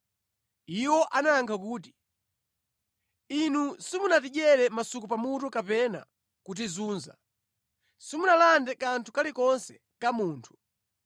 Iwo anayankha kuti, “Inu simunatidyere masuku pamutu kapena kutizunza. Simunalande kanthu kalikonse ka munthu.”